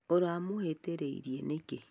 ũramũhĩtĩirie nĩkĩ?